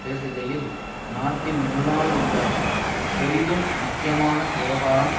பேசுகையில் நாட்டின் முன்னால் உள்ள பெரிதும் முக்கியமான விவகாரம்